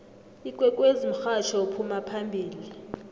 ikwekwezi mhatjho ophuma phambili